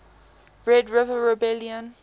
red river rebellion